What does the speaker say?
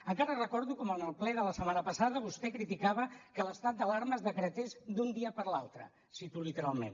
encara recordo com en el ple de la setmana passada vostè criticava que l’estat d’alarma es decretés d’un dia per l’altre el cito literalment